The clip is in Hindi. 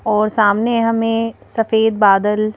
और सामने हमें सफेद बादल--